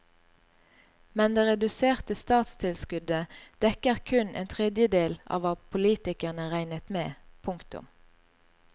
Men det reduserte statstilskuddet dekker kun en tredjedel av hva politikerne regnet med. punktum